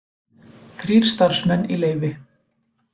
Þrír starfsmenn í leyfi